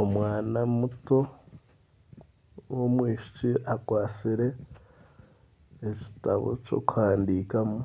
Omwana muto w'omwishiiki akwatsire ekitabo ky'okuhandiikamu